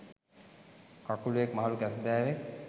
කකුළුවෙක් මහළු කැස්බෑවෙක්